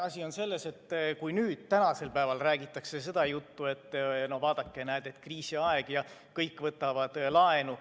Asi on selles, et nüüd räägitakse seda juttu, et vaadake, näete, on kriisiaeg ja kõik võtavad laenu.